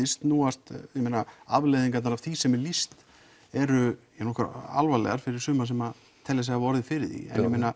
snúast afleiðingarnar af því sem er lýst eru nokkuð alvarlegar fyrir suma sem telja sig hafa orðið fyrir því